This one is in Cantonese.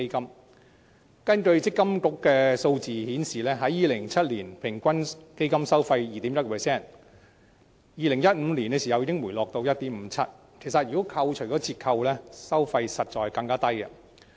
強制性公積金計劃管理局的數字顯示 ，2007 年的平均基金收費為 2.1%， 到2015年已回落至 1.57%， 而在扣除折扣後，收費其實更低。